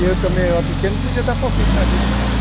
E eu também, eu era pequeno, não podia dar palpite na vida dele.